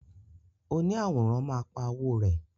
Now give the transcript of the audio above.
Oni àwòrán ma pa owo rẹ.